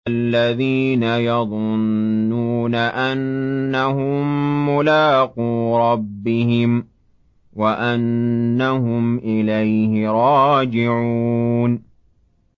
الَّذِينَ يَظُنُّونَ أَنَّهُم مُّلَاقُو رَبِّهِمْ وَأَنَّهُمْ إِلَيْهِ رَاجِعُونَ